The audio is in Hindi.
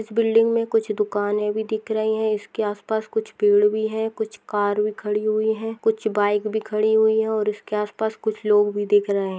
इस बिल्डिंग मे कूछ दुकाने भी दिख रही है इसके आस पास कुछ पेड़ भी है कुछ कार भी खड़ी हुई है कुछ बाइक भी खड़ी हुई है और उसके आस पास कुछ लोग भी दिख रहे --